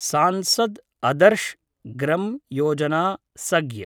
Sansad Adarsh Gram Yojana सग्य्